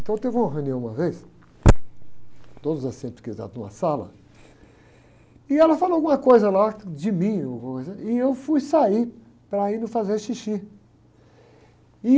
Então teve uma reunião uma vez, todos os assistentes psiquiátricos numa sala, e ela falou alguma coisa lá de mim, alguma coisa, e eu fui sair para ir no, fazer xixi.